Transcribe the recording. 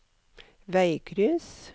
veikryss